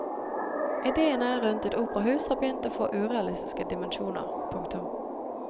Idéene rundt et operahus har begynt å få urealistiske dimensjoner. punktum